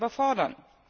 überfordern.